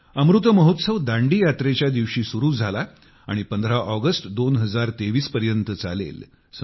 अमृत महोत्सव दांडी यात्रेच्या दिवशी सुरु झाला आणि 15 ऑगस्ट 2023 पर्यंत चालेल